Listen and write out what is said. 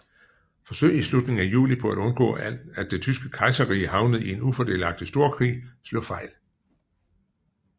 Forsøg i slutningen af juli på at undgå at det tyske kejserrige havnede i en ufordelagtig storkrig slog fejl